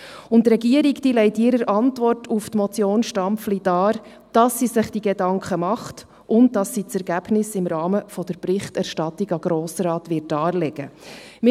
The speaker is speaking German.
Und die Regierung legt in ihrer Antwort auf die Motion Stampfli dar, dass sie sich diese Gedanken macht und dass sie das Ergebnis im Rahmen der Berichterstattung an den Grossen Rat darlegen wird.